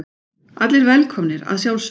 Allir velkomnir að sjálfsögðu.